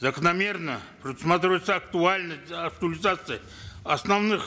закономерно предусматривается актуальность актуализация основных